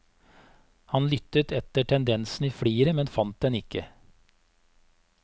Han lyttet etter tendensen i fliret, men fant den ikke.